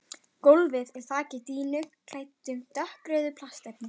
Gólfið er þakið dýnum klæddum dökkrauðu plastefni.